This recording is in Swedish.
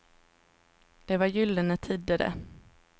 Det var gyllene tider, det.